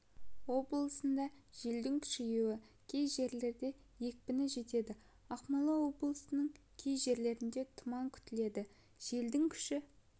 облысында желдің күшеюі кей жерлерде екпіні жетеді ақмола облысының кей жерлерінде тұман күтіледі желдің күші